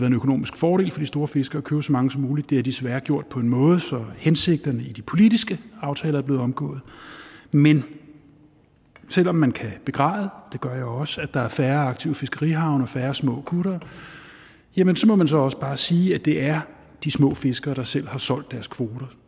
en økonomisk fordel for de store fiskere at købe så mange som muligt det har de desværre gjort på en måde så hensigten i de politiske aftaler er blevet omgået men selv om man kan begræde det gør jeg også at der er færre aktive fiskerihavne og færre små kuttere må man også bare sige at det er de små fiskere der selv har solgt deres kvoter